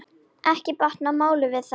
Ekki batnar málið við það.